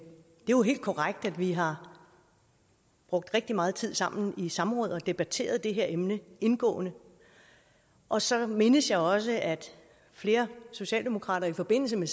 jo helt korrekt at vi har brugt rigtig meget tid sammen i samråd og at debatteret det her emne indgående og så mindes jeg også at flere socialdemokrater i forbindelse med